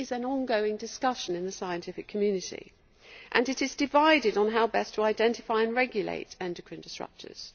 This is an ongoing discussion in the scientific community, which is divided on how best to identify and regulate endocrine-disrupters.